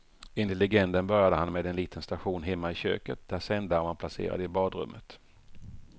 Enligt legenden började han med en liten station hemma i köket där sändaren var placerad i badrummet.